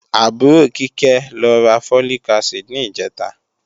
Àbúrò Kíkẹ́ lọ ra Folic acid ní ìjẹ̀ta